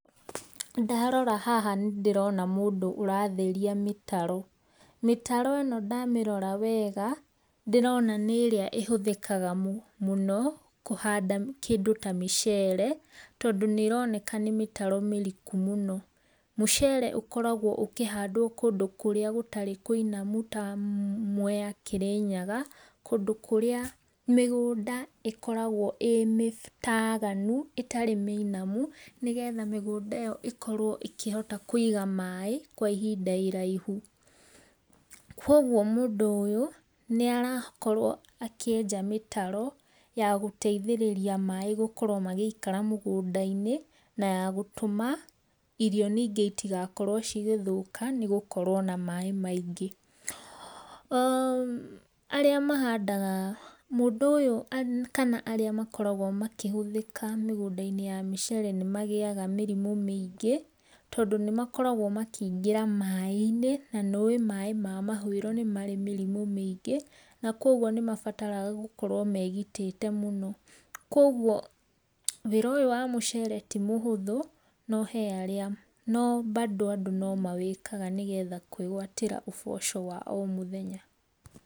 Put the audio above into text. Ndarora haha nĩ ndĩrona mũndũ ũratherĩa mĩtaro mĩtaro ĩno damĩrora wega ndĩrona nĩ ĩrĩa ĩhũthĩkaga mũno kũhanda kĩdũ ta mũcere tondũ nĩronekana nĩ mĩtaro mĩrĩkũ mũno. Mũcere ũkoragwo ũkĩhandwo kũndũ kũrĩa gũtarĩ kũinamũ ta Mwea Kĩrĩnyaga kũndũ kũrĩa mĩgũnda ikoragwo ĩ mĩtaganũ, ĩtarĩ mĩinamũ nĩ getha mĩgũnda ĩyo ĩkorwo ĩkĩhota kũĩga maĩ kwa ihĩnda iraihũ. Kũogwo mũndũ ũyũ nĩ arakoro akĩenja mĩtaro ya gũteĩthĩrĩria maĩ gũkorwo magĩikara mũgũnda inĩ, na ya gũtũma irio nĩnge ĩtĩgakorwo cigethũka nĩ gũkorwo na maĩ maĩngĩ[ũm]. Arĩa mahandaga mũndũ ũyũ kana arĩa makoragwo makĩhũthĩka mĩgũnda inĩ ya mĩcere nĩ magĩaga mĩrimũ mĩĩngĩ tondũ nĩmakoragwo makĩ ingĩra maĩ inĩ na nĩ ũĩ maĩ mahũĩro nĩ marĩ mĩrimũ mĩingĩ, na kũogwo nĩ mabataraga gũkorwo megĩtĩte mũno kũogwo wĩra ũyũ wa mũcere tĩ mũhũthũ no he arĩa no bado andũ nĩmawĩkaga nĩgetha kwĩgwatĩra ũboco wa o mũthenya.